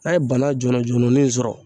n'a ye banan jɔlɔjɔlɔnin in sɔrɔ